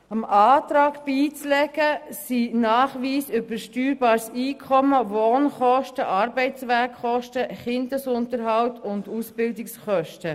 Dem Antrag beizulegen sind Nachweise über steuerbares Einkommen, Wohnkosten, Arbeitswegkosten, Kinderunterhalt und Ausbildungskosten.